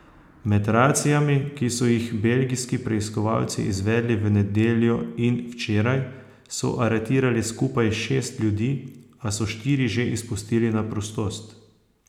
Med racijami, ki so jih belgijski preiskovalci izvedli v nedeljo in včeraj, so aretirali skupaj šest ljudi, a so štiri že izpustili na prostost.